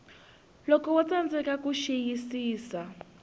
loko wo tsandzeka ku xiyisisa